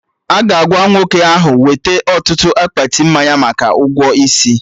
Aga agwa nwoke ahụ weta ọtụtụ akpati mmanya maka ụgwọ isi